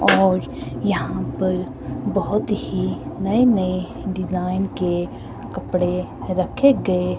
और यहां पर बहुत ही नए-नए डिजाइन के कपड़े रखे गए।